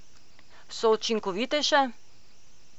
So učinkovitejše?